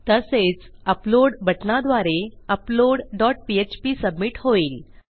तसेच अपलोड बटणाद्वारे upload dot PHP submit होईल